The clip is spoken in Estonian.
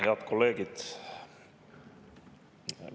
Head kolleegid!